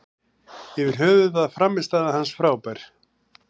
Yfir höfuð var frammistaða hans frábær.